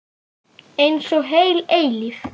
Einsog heil eilífð.